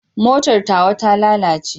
Motar tawa ta lalace.